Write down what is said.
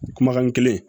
Kumakan kelen